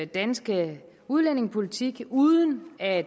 danske udlændingepolitik uden at